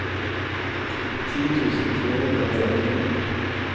ti tusen tre hundre og trettini